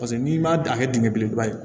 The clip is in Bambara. Paseke n'i ma a kɛ dingɛ belebeleba ye